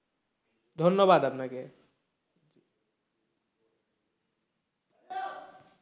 ধন্যবাদ আপনাকে।